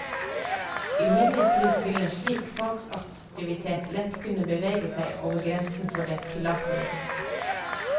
Imidlertid vil en slik salgsaktivitet lett kunne bevege seg over grensen for det tillatelige.